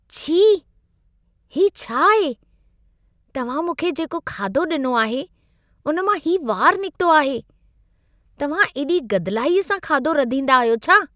छी! हीउ छा आहे? तव्हां मूंखे जेको खाध्हो ॾिनो आहे, उन मां हीउ वारु निक्तो आहे। तव्हां एॾी गदिलाईअ सां खाधो रधींदा आहियो छा?